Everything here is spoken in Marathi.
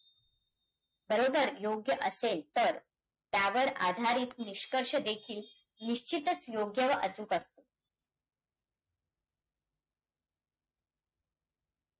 बरोबर योग्य असेल तर, त्यावर आधारित निष्कर्ष देखील निश्चितच योग्य व अचूक असतील.